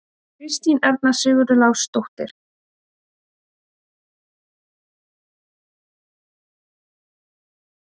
Kristín Erna Sigurlásdóttir var flott fram á við og varnarvinna til fyrirmyndar miðað við framherja.